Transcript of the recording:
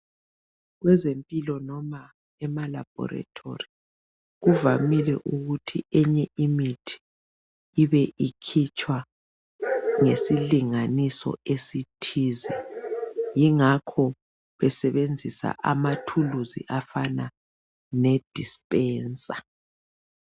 Kwezempilo noma emalabhorethori, kuvamile ukuthi enye imithi ibe ikhitshwa ngesilinganiso esithize. Yingakho besebenzisa amathuluzi afana nedispensa.